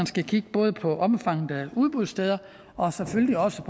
skal kigge på på omfanget af udbudssteder og selvfølgelig også